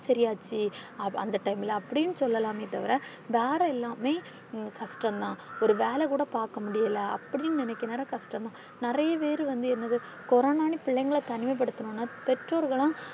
சரியாச்சு அந்த time ல அப்பிடினு சொல்லலாமே தவிர வேற எல்லாமே கஷ்டம் தான் ஒரு வேலை கூட பாக்க முடியல அப்பிடினு நினைக்கிற நேரம் கஷ்டம் தான் நிறைய பேரு வந்து என்னது கொரோனானு பிள்ளைங்கள தனிமைப்படுத்துனும்னா பெற்றோர்களும்